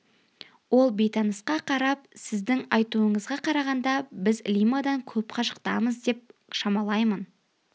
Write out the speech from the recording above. ол бейтанысқа қарап сіздің айтуыңызға қарағанда біз лимадан көп қашықтамыз деп шамалаймын